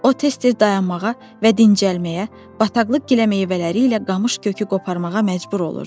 O tez-tez dayanmağa və dincəlməyə, bataqlıq giləmeyvələri ilə qamış kökü qoparmağa məcbur olurdu.